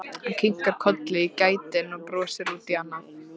Hann kinkar kolli í gættinni og brosir út í annað.